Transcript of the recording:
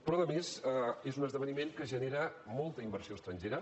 però a més és un esdeveniment que genera molta inversió estrangera